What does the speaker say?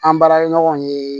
An baarakɛɲɔgɔn ye